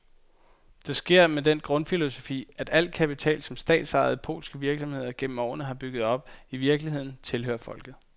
Det sker med den grundfilosofi, at al kapital, som de statsejede polske virksomheder igennem årene har bygget op, i virkeligheden tilhører folket.